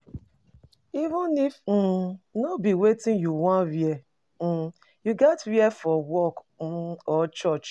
Even if um no be wetin you won wear um you gats wear for work um or church